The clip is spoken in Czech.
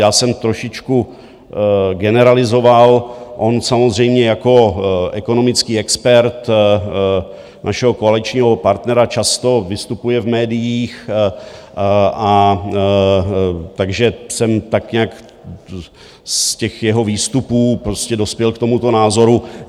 Já jsem trošičku generalizoval, on samozřejmě jako ekonomický expert našeho koaličního partnera často vystupuje v médiích, a takže jsem tak nějak z těch jeho výstupů prostě dospěl k tomuto názoru.